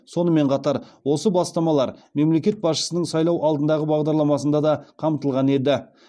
сонымен қатар осы бастамалар мемлекет басшысының сайлау алдындағы бағдарламасында да қамтылған еді